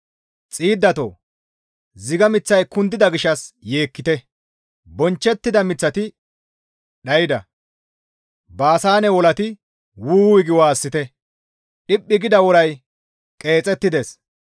Xiiddatoo! Ziga miththay kundida gishshas yeekkite; bonchchettida miththati dhayda; Baasaane wolati «Wu! wuy» gi waassite; dhippi gida woray qeexettides.